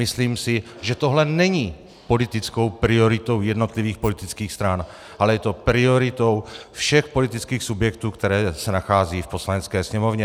Myslím si, že tohle není politickou prioritou jednotlivých politických stran, ale je to prioritou všech politických subjektů, které se nacházejí v Poslanecké sněmovně.